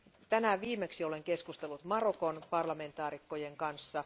Tänään viimeksi olen keskustellut Marokon parlamentaarikkojen kanssa.